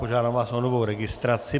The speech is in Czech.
Požádám vás o novou registraci.